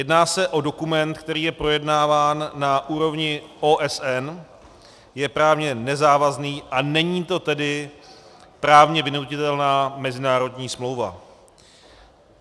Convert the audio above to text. Jedná se o dokument, který je projednáván na úrovni OSN, je právně nezávazný, a není to tedy právně vynutitelná mezinárodní smlouva.